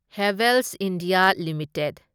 Havells India limited